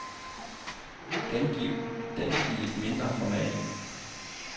Gengiv den i et mindre format.